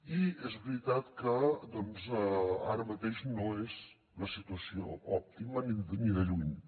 i és veritat que doncs ara mateix no és la situació òptima ni de lluny